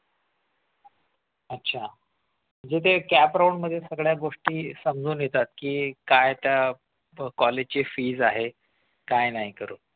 अच्छा म्हणजे ते cap round मध्ये सगळ्या गोष्टी समजून येतात की हे काय आता कॉलेजची fees आहे काय नाही करू